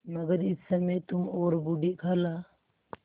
मगर इस समय तुम और बूढ़ी खाला